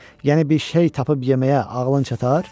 Yəni bir şey tapıb yeməyə ağlın çatar?